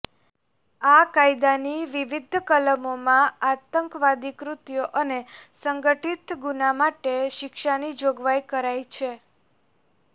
આ કાયદાની વિવિધ કલમોમાં આતંકવાદી કૃત્યો અને સંગઠિત ગુના માટે શિક્ષાની જોગવાઇ કરાઈ છે